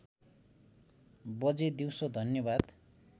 बजे दिउसो धन्यवाद